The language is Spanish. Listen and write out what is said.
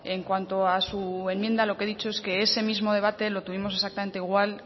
en cuanto a su enmienda lo que he dicho es que ese mismo debate lo tuvimos exactamente igual